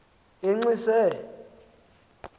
enxise